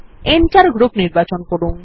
enter group নির্বাচন করুন